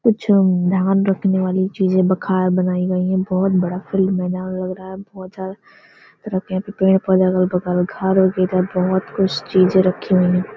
कुछ नाम रखने वाले चीज़े बखार बनायीं गयी हैं। बोहोत बड़ा फ्रेम बोहुत ज्यादा बोहुत कुछ चीज़े रखी हुई हैं।